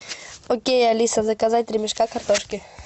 окей алиса заказать три мешка картошки